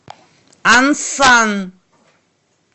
ансан